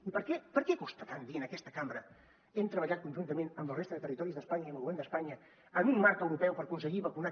i per què per què costa tant dir en aquesta cambra hem treballat conjuntament amb la resta de territoris d’espanya i amb el govern d’espanya en un marc europeu per aconseguir vacunar